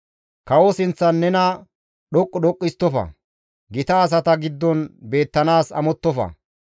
Kawo sinththan nena dhoqqu dhoqqu histtofa; gita asata giddon beettanaas amottofa.